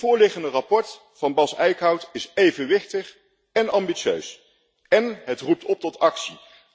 Het voorliggende verslag van Bas Eickhout is evenwichtig en ambitieus, en het roept op tot actie.